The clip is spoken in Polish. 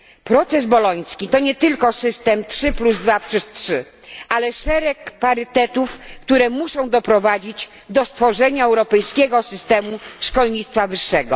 Proces boloński to nie tylko system 323, ale szereg parytetów, które muszą doprowadzić do stworzenia europejskiego systemu szkolnictwa wyższego.